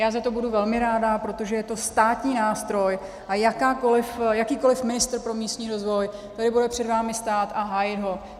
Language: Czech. Já za to budu velmi ráda, protože je to státní nástroj a jakýkoliv ministr pro místní rozvoj tady bude před vámi stát a hájit ho.